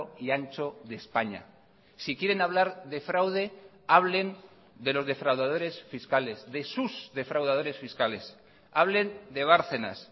y ancho de españa si quieren hablar de fraude hablen de los defraudadores fiscales de sus defraudadores fiscales hablen de bárcenas